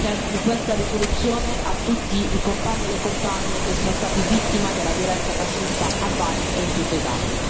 Dedico l'approvazione di questa risoluzione a tutti i compagni e le compagne che sono stati vittime della violenza fascista, a Bari e in tutta Italia.